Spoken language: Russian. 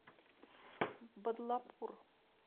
бадлапур